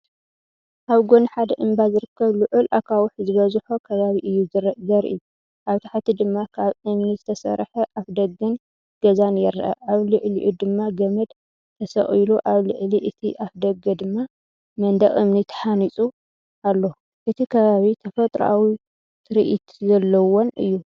ኣብ ጎኒ ሓደ እምባ ዝርከብ ልዑል ኣኻውሕ ዝበዝሖ ከባቢ እዩ ዘርኢ። ኣብ ታሕቲ ድማ ካብ እምኒ ዝተሰርሐ ኣፍደገን ገዛን ይርአ፣ ኣብ ልዕሊኡ ድማ ገመድ ተሰቒሉ ኣብ ልዕሊ እቲ ኣፍደገድማ መንደቕ እምኒ ተሃኒጹ ኣሎ። እቲ ከባቢ ተፈጥሮኣዊትርኢት ዘለዎን እዩ።